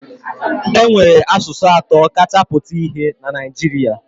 E nwere asụsụ atọ kacha pụta ìhè na Naịjiria